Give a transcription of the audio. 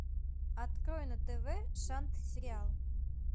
открой на тв шант сериал